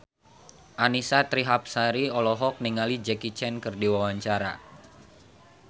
Annisa Trihapsari olohok ningali Jackie Chan keur diwawancara